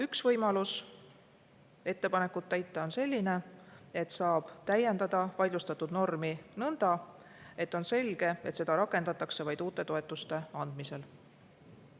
Üks võimalus ettepanekut on selline: saab täiendada vaidlustatud normi nõnda, et on selge, et seda rakendatakse vaid uute toetuste andmisel.